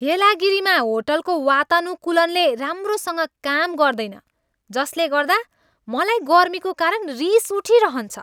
येलागिरीमा होटलको वातानुकूलनले राम्रोसँग काम गर्दैन जसले गर्दा मलाई गर्मीको कारण रिस उठिरहन्छ।